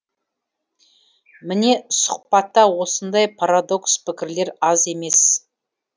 міне сұхбатта осындай парадокс пікірлер аз емес